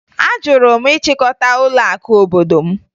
Ajụrụ m ịchịkọta ụlọakụ obodo m